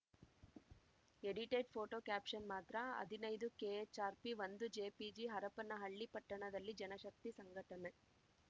edited photo caption ಮಾತ್ರ ಹದಿನೈದುಕೆಎಚ್‌ಆರ್‌ಪಿಒಂದುಜೆಪಿಜಿ ಹರಪ್ಪನಹಳ್ಳಿ ಪಟ್ಟಣದಲ್ಲಿ ಜನಶಕ್ತಿ ಸಂಘಟನೆ